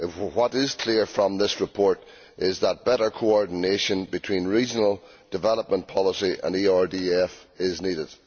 What is clear from this report is that better coordination between regional development policy and the ERDF is needed.